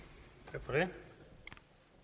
men